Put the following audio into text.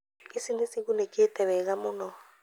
Ici nĩcigunĩkĩte wega mũno